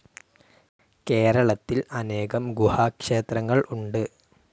കേരളത്തിൽ അനേകം ഗുഹാ ക്ഷേത്രങ്ങൾ ഉണ്ട്.